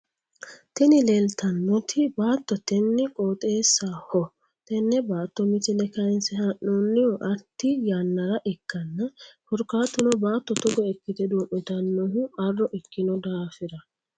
Tini leeltannoti baatotenn qooxeessaho tenne baatto misile kaaynse haa'noonnihu arti yannara ikkanno korkaatuno baatto togo ikkite duu'mitannohu arro ikkino daafira.